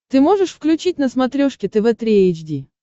ты можешь включить на смотрешке тв три эйч ди